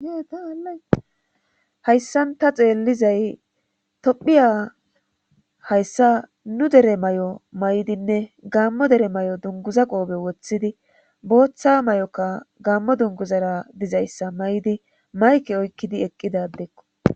Hayssan ta xeellizay tophiya hayssa nu dere may7o may7dinne gammo dere may7o dunguza qoobe woththidi booththa may7oka gammo dunguzara dizayssa may7di mayke oykkidi eqqida adekko.